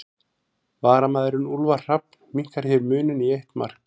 Varamaðurinn Úlfar Hrafn minnkar hér muninn í eitt mark.